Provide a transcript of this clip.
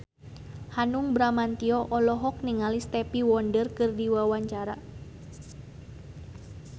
Hanung Bramantyo olohok ningali Stevie Wonder keur diwawancara